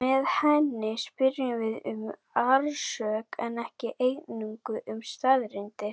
Með henni spyrjum við um orsök en ekki eingöngu um staðreyndir.